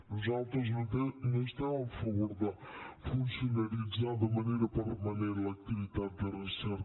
nosaltres no estem a favor de funcionaritzar de manera permanent l’activitat de recerca